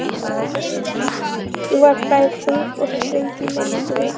Hún var bæði þung og ströng í minningunni.